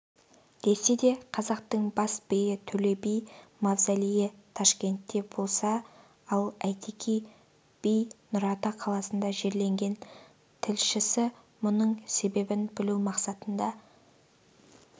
десе де қазақтың бас биі төле би мавзолейі ташкентте болса ал әйтеке би нұрата қаласында жерленген тілшісі мұның себебін білу мақсатында